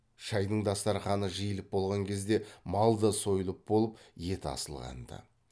шайдың дастарқаны жиылып болған кезде мал да сойылып болып ет асылған ды